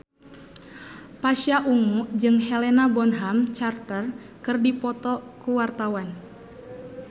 Pasha Ungu jeung Helena Bonham Carter keur dipoto ku wartawan